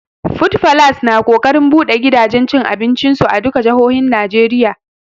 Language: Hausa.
Food falas na ƙoƙarin buɗe gidajen cin abincin su a duka jahohin Najeriya